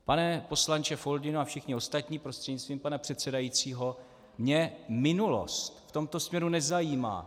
Pane poslanče Foldyno a všichni ostatní, prostřednictvím pana předsedajícího, mě minulost v tomto směru nezajímá.